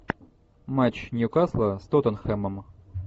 матч ньюкасла с тоттенхэмом